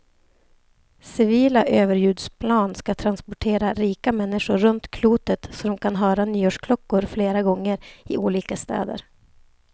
Civila överljudsplan ska transportera rika människor runt klotet så de kan höra nyårsklockor flera gånger, i olika städer.